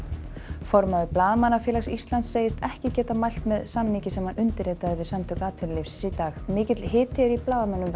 formaður Blaðamannafélags Íslands segist ekki geta mælt með samningi sem hann undirritaði við Samtök atvinnulífsins í dag mikill hiti er í blaðamönnum vegna